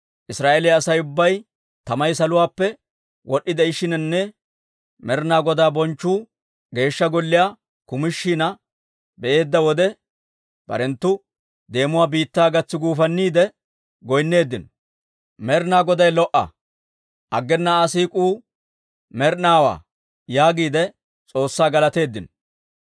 Israa'eeliyaa Asay ubbay tamay saluwaappe wod'd'ishiinanne Med'inaa Godaa bonchchu Geeshsha Golliyaa kumishina be'eedda wode, barenttu deemuwaa biittaa gatsi guufanniide goynneeddino; «Med'inaa Goday lo"a! Aggena Aa siik'uu med'inaawaa» yaagiide S'oossaa galateeddino.